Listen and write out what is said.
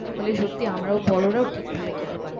বলে সত্যিই আমরাও বড়রাও ঠিকভাবে খেতে পারেনি।